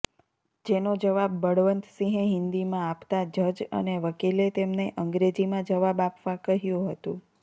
જેનો જવાબ બળવંતસિંહે હિન્દીમાં આપતા જજ અને વકીલે તેમને અંગ્રેજીમાં જવાબ આપવા કહ્યુ હતુ